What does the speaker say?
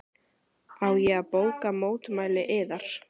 Á ég að bóka mótmæli yðar?